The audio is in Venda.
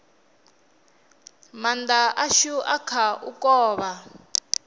maanda ashu a kha u kovha